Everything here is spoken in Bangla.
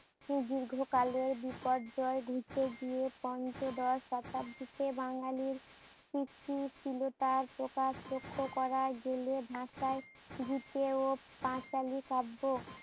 দীর্ঘ কালে বিপর্যয় ঘুচে গিয়ে পঞ্চদশ শতাব্দীতে বাঙালির সৃষ্টিশীলতার প্রকাশ লক্ষ্য করা গেলে ভাষায় দিকে ও পাঁচালি কাব্য।